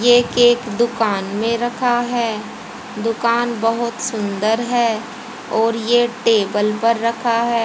ये केक दुकान में रखा है दुकान बहुत सुंदर है और ये टेबल पर रखा है।